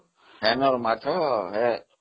ସେଠାର ମାଛ ହେଁ